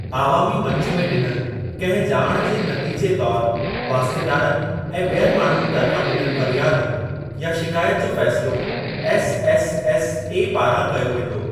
आवामी मंच में ॾिनल कंहिं ॼाण जे नतीजे तौर वास्तेदारनि ऐं ॿियनि माण्हुनि तरफां ॾिनल फरियाद या शिकायत जो फ़ैसिलो एसएसएसए पारां कयो वेंदो।